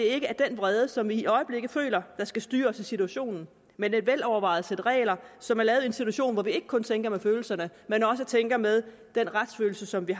ikke er den vrede som vi i øjeblikket føler der skal styre os i situationen men et velovervejet sæt regler som er lavet i en situation hvor vi ikke kun tænker med følelserne men også tænker med den retsfølelse som vi